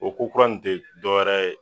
O ko kura in te dɔwɛrɛ ye